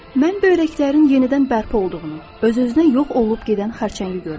Mən böyrəklərin yenidən bərpa olduğunu, öz-özünə yox olub gedən xərçəngi görmüşəm.